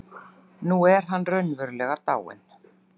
Nú er hann raunverulega dáinn.